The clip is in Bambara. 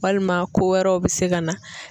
Walima ko wɛrɛw bɛ se ka na.